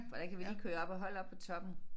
For der kan vi lige køre op og holde oppe på toppen